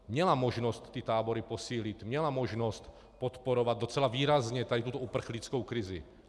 Měla možnost ty tábory posílit, měla možnost podporovat docela výrazně tady tuto uprchlickou krizi.